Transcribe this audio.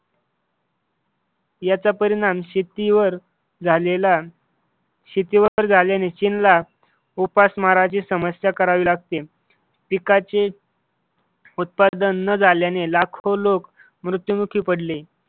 याचा परिणाम शेतीवर झाल्याने चीनला उपासमारची समस्या करावी लागते, पिकाच उत्पादन न झाल्याने लाखो लोक मृत्यूमुखी पडले.